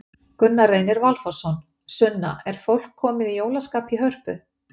Gunna Reynir Valþórsson: Sunna, er fólk komið í jólaskap í Hörpu?